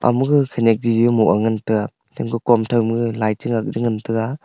ama gag khanyak jiji moh ga ngantaga temka kom thau ma gag light cha ngak ja ngantaga.